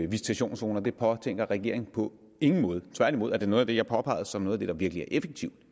visitationszoner det påtænker regeringen på ingen måde tværtimod er det noget jeg påpegede som noget af det der virkelig er effektivt